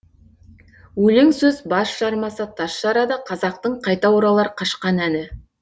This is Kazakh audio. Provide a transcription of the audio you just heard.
өлең сөз бас жармаса тас жарады қазақтың қайта оралар қашқан әні